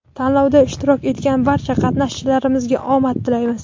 Tanlovda ishtirok etgan barcha qatnashchilarimizga omad tilaymiz!.